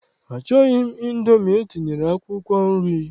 Achọghị m Indomi etinyere akwụkwọ nri.